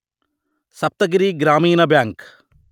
Saptagiri Grameena bank